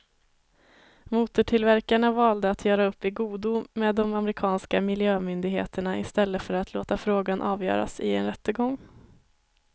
Motortillverkarna valde att göra upp i godo med de amerikanska miljömyndigheterna i stället för att låta frågan avgöras i en rättegång.